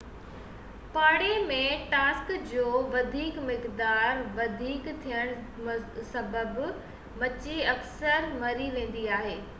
پاڻي ۾ ٽاڪسن جو وڌيڪ مقدار وڌيڪ ٿيڻ سبب مڇي اڪثر مري ويندي آهي